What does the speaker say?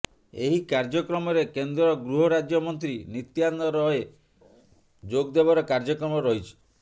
ଏହି କାର୍ଯ୍ୟକ୍ରମରେ କେନ୍ଦ୍ରଗୃହ ରାଜ୍ୟ ମନ୍ତ୍ରୀ ନିତ୍ୟାନନ୍ଦ ରଏ ଯୋଗ ଦେବାର କାର୍ଯ୍ୟକ୍ରମ ରହିଛି